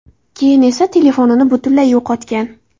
Keyin esa telefonini butunlay yo‘qotgan.